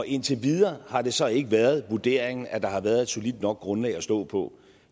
indtil videre har det så ikke været vurderingen at der har været et solidt nok grundlag at stå på